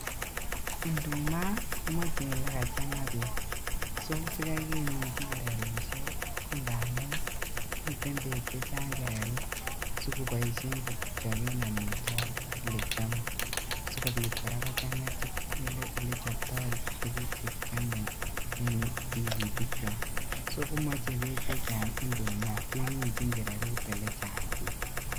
Induma komoche elekachanga beek sikai keminji kererusiek ko ngamun miten beek chechang kererut asikoboishen kochobeb omitwogik elekiome sikobit koraa kochanga olechope tuguk chekiomeen tigitikwak, so komoche beek chechang indumaa keminjin kererut elechang beek